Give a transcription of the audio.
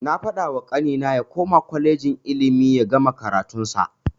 Na fadawa kanina ya koma kwalejin ilimi yagama karatun sa.